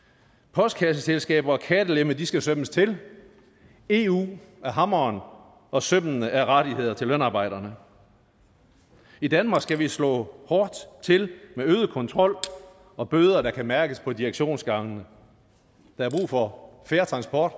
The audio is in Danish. postkasseselskaber og kattelemme skal sømmes til eu er hammeren og sømmene er rettigheder til lønarbejderne i danmark skal vi slå hårdt til med øget kontrol og bøder der kan mærkes på direktionsgangene der er brug for fair transport